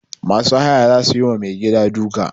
Masu haya za su yi wa mai gida duka.